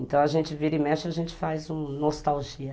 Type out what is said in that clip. Então a gente vira e mexe, a gente faz uma nostalgia.